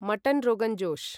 mutton rogan josh